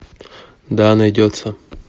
да найдется